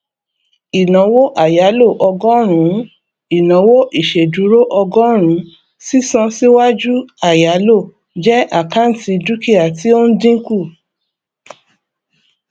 ìnáwó àyálò ọgọrùnún ìnáwó ìṣèdúró ọgọrùnùn sísan síwájú àyáló jẹ àkáǹtì dúkìá tí ó ń dínkù